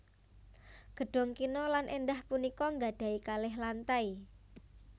Gedhong kina lan èndah punika nggadhahi kalih lantai